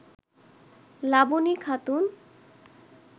Laboni Khatun